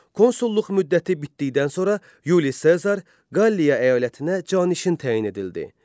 Konsulluq müddəti bitdikdən sonra Yuli Sezar Qalliya əyalətinə canişin təyin edildi.